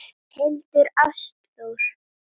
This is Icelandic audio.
Hildur Ástþór.